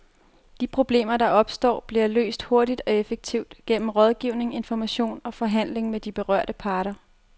De problemer, der opstår, bliver løst hurtigt og effektivt gennem rådgivning, information og forhandling med de berørte parter.